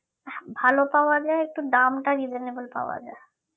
ভালো পাওয়া যায় একটু দামটা reasonable পাওয়া যায়